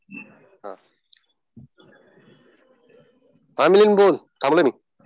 हा मिलिंद बोल. थांबलोय मी.